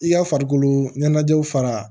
I ka farikolo ɲɛnajɛw fara